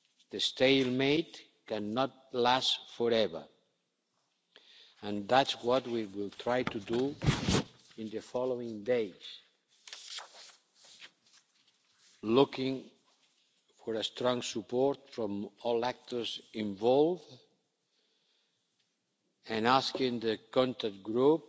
The stalemate cannot last forever, and that's what we will try to do in the following days, looking for strong support from all actors involved and asking the Contact